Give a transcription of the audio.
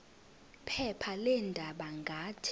phepha leendaba ngathi